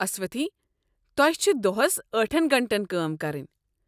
اسوتھی، تۄہہ چھِ دۄہس ٲٹھن گنٛٹن کٲم کرٕنۍ۔